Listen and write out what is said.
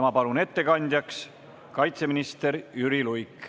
Ma palun ettekandjaks kaitseminister Jüri Luige.